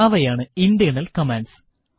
അവയാണ് internal commands